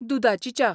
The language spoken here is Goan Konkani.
दुदाची च्या.